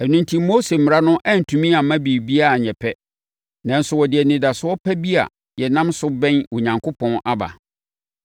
Ɛno enti, Mose Mmara no antumi amma biribiara anyɛ pɛ. Nanso wɔde anidasoɔ pa bi a yɛnam so bɛn Onyankopɔn aba.